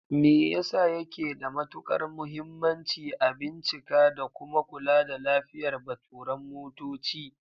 Me yasa yake da matukar muhimmanci a bincika da kuma kula da lafiyar baturan motoci?